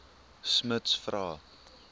smuts vra